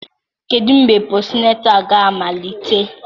Kedu mgbe posịnetal ga-amalite?